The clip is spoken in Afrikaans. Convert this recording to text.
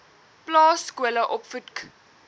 plaas skole opvoedk